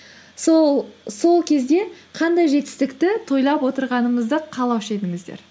сол кезде қандай жетістікті тойлап отырғаныңызды қалаушы едіңіздер